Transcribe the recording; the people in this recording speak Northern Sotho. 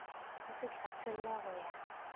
o se hlatholle go ya